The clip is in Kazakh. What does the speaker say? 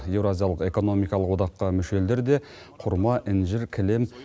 евразиялық экономикалық одаққа мүше елдер де құрма інжір кілем